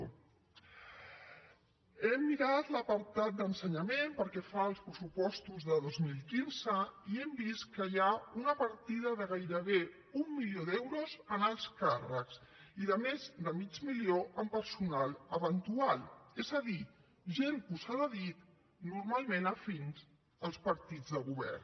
he mirat l’apartat d’ensenyament pel que fa als pressupostos de dos mil quinze i hem vist que hi ha una partida de gairebé un milió d’euros en alts càrrecs i de més de mig milió en personal eventual és a dir gent posada a dit normalment afins als partits de govern